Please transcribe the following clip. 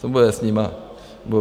Co bude s nimi?